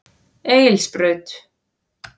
Egilsbraut